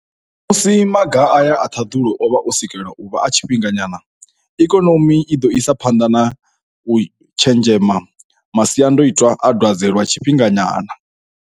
Musi maga aya a ṱhaḓulo o vha o sikelwa u vha a tshifhinga nyana, ikonomi i ḓo isa phanḓa na u tshenzhema masiandaitwa a dwadze lwa tshifhinga nyana.